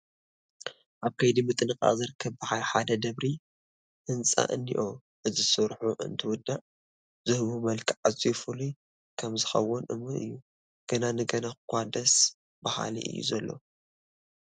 ኣብ ከይዲ ምጥንቓቕ ዝርከብ በዓል ሓደ ደብሪ ህንፃታት እኒሆ፡፡ እዚ ስርሑ እንትውዳእ ዝህቦ መልክዕ ኣዝዩ ፍሉይ ከምዝከውን እሙን እዩ፡፡ ገና ንገና እዃ ደስ በሃሊ እዩ ዘሎ፡፡